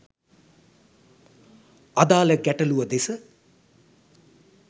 අදාළ ගැටළුව දෙස